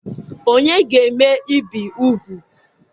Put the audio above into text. Ònye ga-eme ibi úgwù?